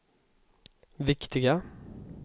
viktiga